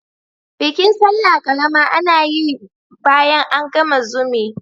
Bikin sallah ƙarama ana yin bayan an gama zumi.